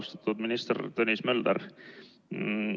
Austatud minister Tõnis Mölder!